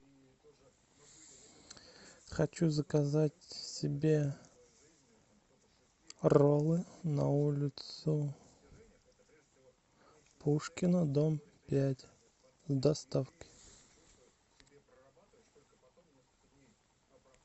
хочу заказать себе роллы на улицу пушкина дом пять с доставкой